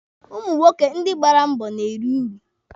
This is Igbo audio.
Ụmụ nwoke ndị gbara mbọ na-eri uru.